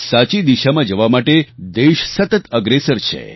સાચી દિશામાં જવા માટે દેશ સતત અગ્રેસર છે